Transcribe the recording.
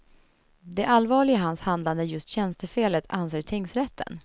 Det allvarliga i hans handlande är just tjänstefelet, anser tingsrätten.